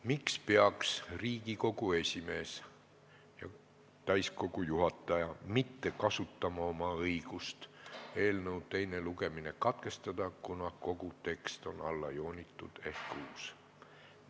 Miks peaks Riigikogu esimees ja täiskogu juhataja mitte kasutama oma õigust eelnõu teine lugemine katkestada põhjusel, et kogu tekst on allajoonitud ehk uus?